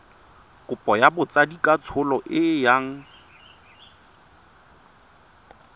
kopo ya botsadikatsholo e yang